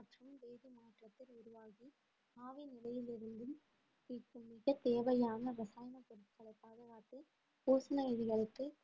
மிகத் தேவையான இரசாயன பொருட்களை பாதுகாத்து பூசண இலைகளுக்கு